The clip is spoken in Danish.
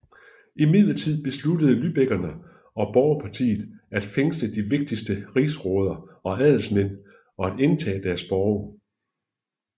Imidlertid besluttede lybekkerne og Borgerpartiet at fængsle de vigtigste rigsråder og adelsmænd og at indtage deres borge